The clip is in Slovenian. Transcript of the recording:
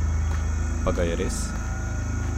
Pa ga je res?